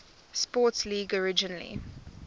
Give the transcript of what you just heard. sports league originally